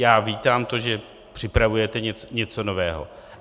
Já vítám to, že připravujete něco nového.